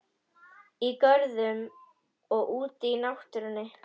Í görðum og úti í náttúrunni.